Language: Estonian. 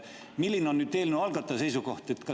Milline on eelnõu algataja seisukoht?